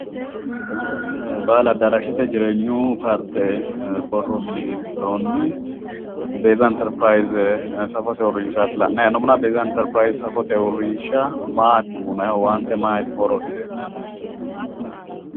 Baahili addaraashete jireenyu paarte borro mini giddoonnni beeza interipirayiize safote uurrinshaati la'nayi hee'noommohuna beeza interipirayiize safote uurrinsha maati uyiinayiihu owaante maati horose?